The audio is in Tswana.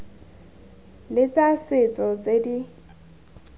le tsa setso tse di